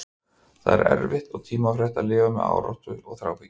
Það er því erfitt og tímafrekt að lifa með áráttu og þráhyggju.